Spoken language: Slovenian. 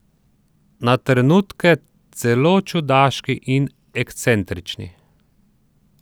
Na trenutke celo čudaški in ekscentrični.